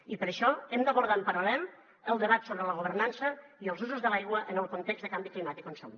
i per això hem d’abordar en paral·lel el debat sobre la governança i els usos de l’aigua en el context de canvi climàtic on som